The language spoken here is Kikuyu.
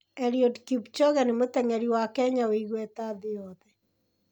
Eliud Kipchoge nĩ mũteng'eri wa Kenya wĩ igweta thĩ yothe.